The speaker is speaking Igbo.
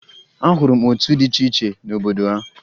Ahụrụ m otu dị iche iche n'obodo ya